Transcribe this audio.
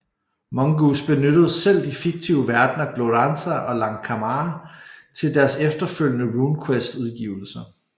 Mongoose benyttede selv de fiktive verdner Glorantha og Lankhmar til deres efterfølgende RuneQuest udgivelser